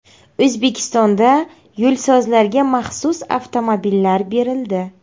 O‘zbekistonda yo‘lsozlarga maxsus avtomobillar berildi.